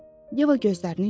Yeva gözlərini yumdu.